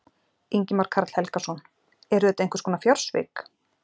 Ingimar Karl Helgason: Eru þetta einhvers konar fjársvik?